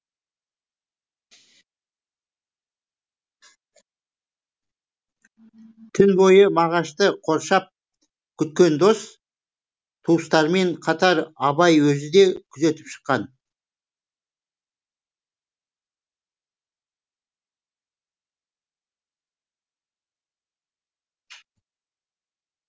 түн бойы мағашты қоршап күткен дос туыстармен қатар абай өзі де күзетіп шыққан